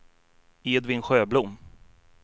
Edvin Sjöblom